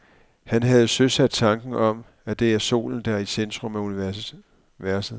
Han havde søsat tanken om, at det er solen, der er i centrum af universet.